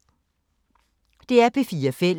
DR P4 Fælles